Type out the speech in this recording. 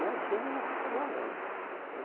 Meus filhos nunca trabalharam, né?